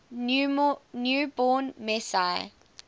new born messiah